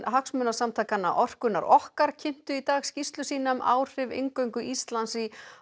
hagsmunasamtakanna orkunnar okkar kynntu í dag skýrslu sína um áhrif inngöngu Íslands í